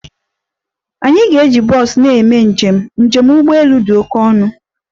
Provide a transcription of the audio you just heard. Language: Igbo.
Anyị ga-eji bọs na-eme njem, njem ụgbọ elu dị oke ọnụ